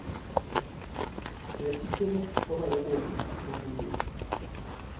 Det er ikke nok å være åpen og modig.